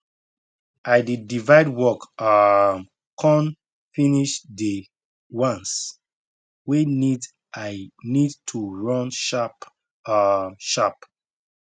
i dey divide work um con finish dey ones wey need i need to run sharp um sharp